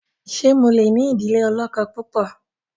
ṣe mọ lẹ ní idile olókó púpọ?